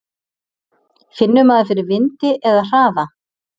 Finnur maður fyrir vindi eða hraða?